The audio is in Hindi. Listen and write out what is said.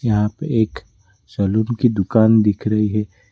यहां पे एक सलून की दुकान दिख रही है।